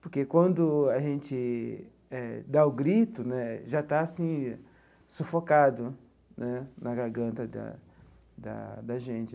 Porque quando a gente eh dá o grito né, já está assim sufocado né na garganta da da da gente.